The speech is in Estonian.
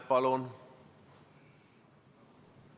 Palun!